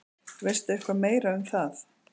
Veistu eitthvað meira um það?